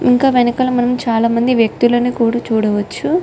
ఇంకా వెనుకల మనం చాల మంది వ్యక్తులను కూడా చూడవొచ్చు.